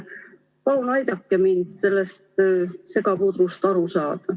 Palun aidake mul sellest segapudrust aru saada.